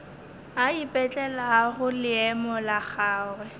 a ipetlelago leemo la gagwe